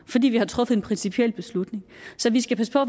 fordi vi har truffet en principiel beslutning så vi skal passe på